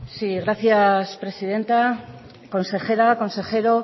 sí gracias presidenta consejera consejero